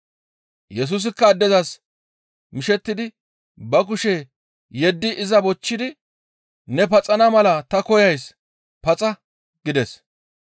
Yesusikka addezas mishettidi ba kushe yeddi iza bochchidi, «Ne paxana mala ta koyays; paxa!» gides.